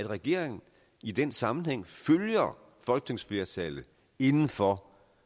regering i den sammenhæng følger folketingsflertallet inden for